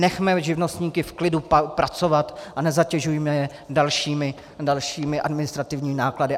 Nechme živnostníky v klidu pracovat a nezatěžujme je dalšími administrativními náklady.